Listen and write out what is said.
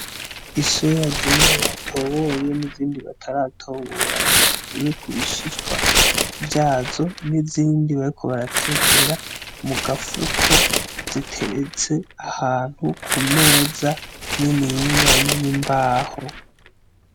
Isoya zimwe batoboye n’izindi bataratobora ngo bakureko ibishishwa vyazo, n’izindi bariko baratekera mu gafuko zireretse ahantu ku meza niniya y’imbaho.